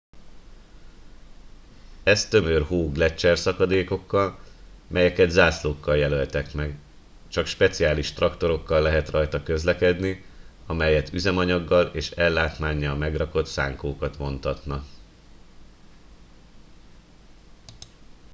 ez tömör hó gleccserszakadékokkal melyeket zászlókkal jelöltek meg csak speciális traktorokkal lehet rajta közlekedni amelyet üzemanyaggal és ellátmánnyal megrakott szánkókat vontatnak